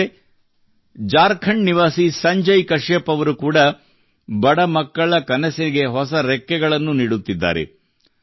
ಸ್ನೇಹಿತರೇ ಝಾರ್ಖಂಡ್ ನಿವಾಸಿ ಸಂಜಯ್ ಕಶ್ಯಪ್ ಅವರು ಕೂಡಾ ಬಡ ಮಕ್ಕಳ ಕನಸಿಗೆ ಹೊಸ ರೆಕ್ಕೆಗಳನ್ನು ನೀಡುತ್ತಿದ್ದಾರೆ